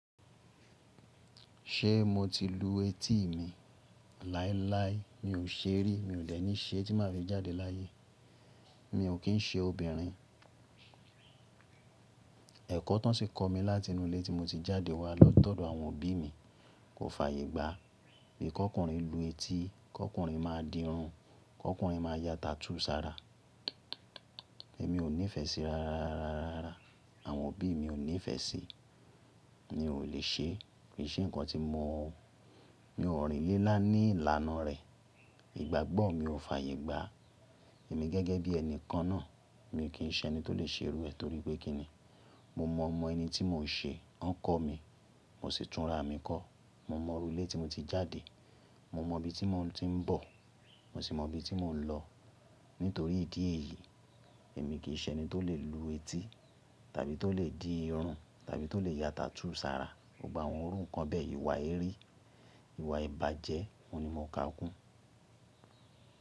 Ṣé mo ti lu etí mi láíláí? Mi ò ṣe rí, mi ò de ní ṣe tí má fi jáde láyé. Mi ò kí ń ṣe obìnrin. Ẹ̀kọ́ tán ṣi kọ mí láti inú ilé tí mo ti jáde wá lọ́tọ̀ọ̀dọ̀ àwọn òbí mi. Kò fààyè gbá pé kọ́kùnrin lu etí, kọ́kùnrin máa di irun, kọ́kùnrin máa ya tattoo sára. Èmi ò nífẹ̀ẹ́ sí ra, àwọn òbí mi ò nífẹ̀ẹ́ sí, mi ò le ṣe, kì í ṣe nǹkan tí mo mọ̀ ọ́n. Mi ò rìn lé ńlá ní ìlànà rẹ̀. Ìgbàgbọ́ mi ò fààyè gbá. Èmi gẹ́gẹ́ bí ẹni kan náà, mi ò kí ń ṣe ẹni tó lè ṣe irú ẹ torí pé kí ni? Mo mọ̀ mọ ẹni tí mò ń ṣe, wọ́n kọ́ mi, mo sì túnra mi kọ́. Mo mọ̀ orilẹ́ tí mo ti jáde, mo mọ ibi tí mò ń bọ̀, mo sì mọ ibi tí mò ń lọ. Nítorí ìdí èyí, èmi kì í ṣe ẹni tó lè lu etí tàbí tó lè di irun tàbí tó lè ya tattoo sára. Mo gba àwọn ohun kan bẹ́ẹ̀ ìwà erí, ìwà ìbàjẹ́, òun ni mo ka Ògún.